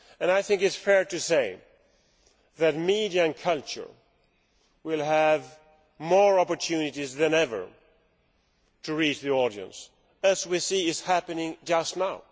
I think it is fair to say that media and culture will have more opportunities than ever to reach the audience, as we see is happening just now.